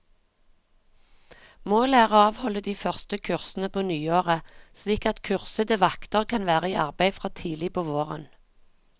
Målet er å avholde de første kursene på nyåret, slik at kursede vakter kan være i arbeid fra tidlig på våren.